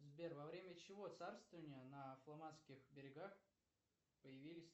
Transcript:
сбер во время чьего царствования на фламандских берегах появились